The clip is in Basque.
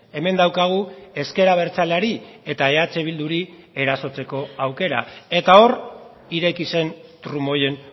hemen daukagu ezker abertzaleari eta eh bilduri erasotzeko aukera eta hor ireki zen trumoien